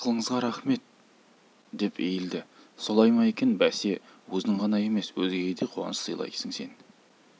ақылыңызға рақмет деп иілді солай ма екен бәсе өзің ғана емес өзгеге де қуаныш сыйлайсың сен